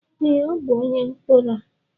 Ee, ọ bụ onye mkpọrọ.